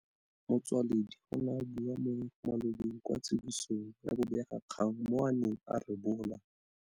Motsoaledi o ne a bua mo malobeng kwa tsibosong ya bobegakgang moo a neng a rebola.